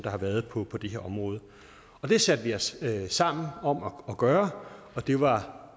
har været på på det her område det satte vi os sammen om at gøre og det var